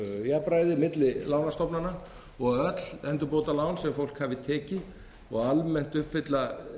jafnræði milli lánastofnana og að öll endurbótalán sem fólk hafi tekið og almennt uppfylla